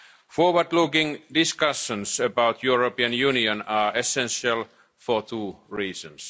Forward looking discussions about the European Union are essential for two reasons.